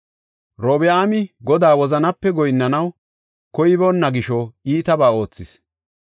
Robi7aami Godaa wozanape goyinnanaw koyiboona gisho iitabaa oothis.